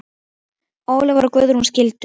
Ólafur og Guðrún skildu.